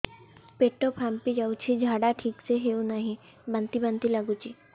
ପେଟ ଫାମ୍ପି ଯାଉଛି ଝାଡା ଠିକ ସେ ହଉନାହିଁ ବାନ୍ତି ବାନ୍ତି ଲଗୁଛି